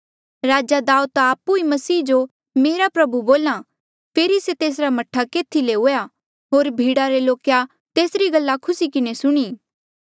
राजा दाऊद ता आपु ई मसीह जो मेरा प्रभु बोल्हा आ फेरी से तेसरा मह्ठा केथी ले हुआ होर भीड़ा रे लोके तेसरी गल्ला खुसी किन्हें सुणी